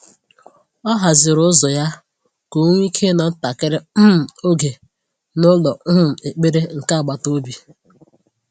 O haziri ụzọ ya ka ọ nwee ike ịnọ ntakịrị um oge n’ụlọ um ekpere nke agbata obi.